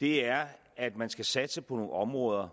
er at man skal satse på nogle områder